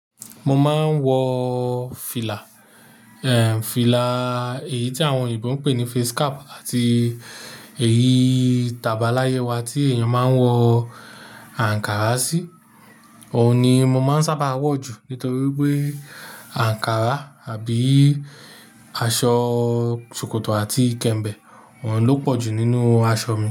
Mo máa ń wọ fìlà, ẹ́ è, fìlà èyí tí àwọn òyìnbó ń pè ní face cap àti èyí, tabala yẹ wa tí èèyàn máa ń wọ ankara sí. Òun ni mo máa ń sábà wọ̀ jù nítorí pé ankara àbí aṣọ ṣòkòtò àti ìkẹ́mbẹ̀, wọ́n ló pọ̀ jù nínú aṣọ mi.